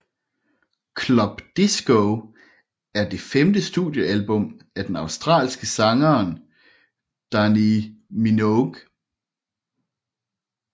Club Disco er det femte studiealbum af den australske sangeren Dannii Minogue